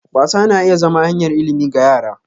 Wasa na iya zama hanyar ilimi ga yara.